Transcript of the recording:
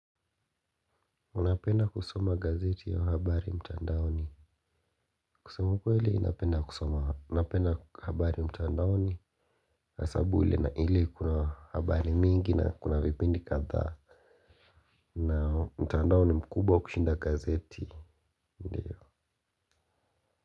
Unapenda kusoma gazeti au habari mtandaoni. Kusema ukweli napenda kusoma napenda habari mtandaoni. Hasabu na ili kuna habari mingi na kuna vipindi kadhaa. Na mtandao ni mkubwa kushinda gazeti.